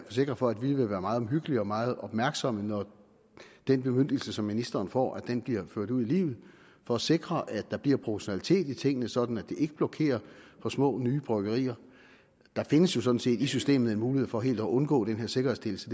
forsikre for at vi vil være meget omhyggelige og meget opmærksomme når den bemyndigelse som ministeren får bliver ført ud i livet for at sikre at der bliver proportionalitet i tingene sådan at det ikke blokerer for små nye bryggerier der findes jo sådan set i systemet en mulighed for helt at undgå den her sikkerhedsstillelse